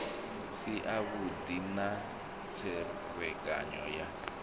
si avhudi na tserekano ya